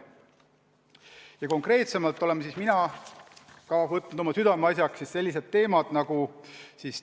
Mina olen konkreetsemalt võtnud oma südameasjaks sellised teemad nagu